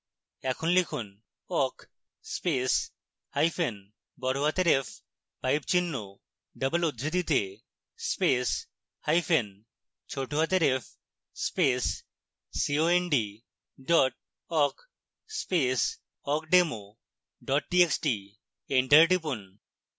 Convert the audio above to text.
এখন লিখুন: awk space hyphen বড়হাতের f pipe চিহ্ন double উদ্ধৃতিতে space hyphen ছোটহাতের f space cond dot awk space awkdemo dot txt enter টিপুন